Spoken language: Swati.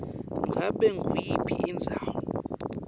ngabe nguyiphi indzawo